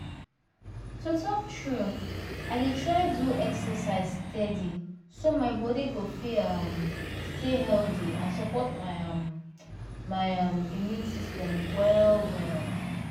to talk true i dey try do exercise steady so my body go fit um stay healthy and support um my um immune system well well